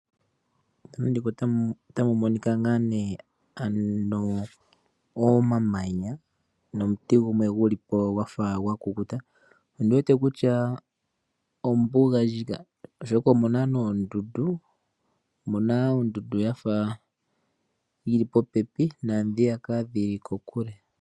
Omamanya nomuti gumwe gulipo gwafa gwakukuta, ondi wete kutya ombuga ndjika. Omu na woo oondundu dhili popepi noonkwawo dhili kokule.